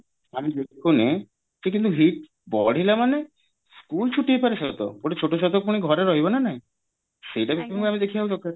ଆମେ ଦେଖୁନେ କିନ୍ତୁ heat ବଢିଲା ମାନେ school ଛୁଟି ହେଇପାରେ ସତ ଗୋଟେ ଛୋଟ ଛୁଆତ ପୁଣି ଘରେ ରହିବ ନା ନାହିଁ ସେଇଟା ଦେଖିବା ବି ଦରକାର